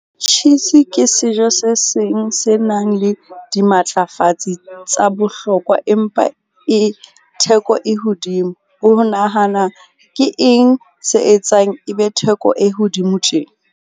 Cheese ke sejo se seng se nang le dimatlafatsi tsa bohlokwa, empa e theko e hodimo o ho nahana, ke eng se etsang e be theko e hodimo tje?